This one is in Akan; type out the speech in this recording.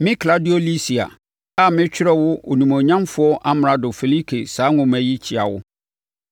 Me Klaudio Lisia a meretwerɛ wo Onimuonyamfoɔ Amrado Felike saa nwoma yi, kyea wo!